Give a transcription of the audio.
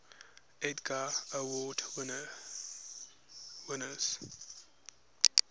edgar award winners